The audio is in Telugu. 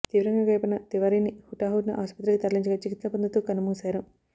తీవ్రంగా గాయపడిన తివారీని హుటాహుటిన ఆసుపత్రికి తరలించగా చికిత్స పొందుతూ కన్నుమూశారు